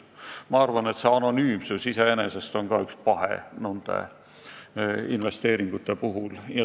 Ma arvan, et anonüümsus on nende investeeringute puhul iseenesest paha.